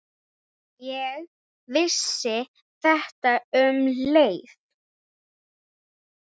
Ég vissi þetta um leið.